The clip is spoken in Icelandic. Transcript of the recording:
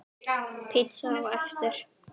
Pizza á eftir.